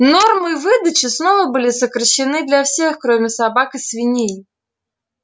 нормы выдачи снова были сокращены для всех кроме собак и свиней